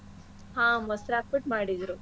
ಹಾ ಮೊಸ್ರ್ ಹಾಕ್ಬಿಟ್ ಮಾಡಿದ್ರು.